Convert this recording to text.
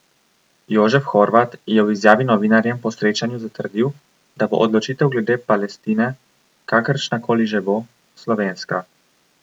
Jožef Horvat je v izjavi novinarjem po srečanju zatrdil, da bo odločitev glede Palestine, kakršna koli že bo, slovenska.